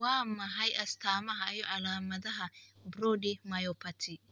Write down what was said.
Waa maxay astamaha iyo calaamadaha Brody myopathy?